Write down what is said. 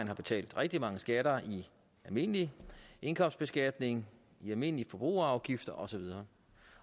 har betalt rigtig mange skatter via almindelig indkomstbeskatning almindelige forbrugerafgifter og så videre